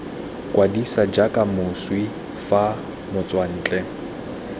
kwadisa jaaka moswi fa motswantle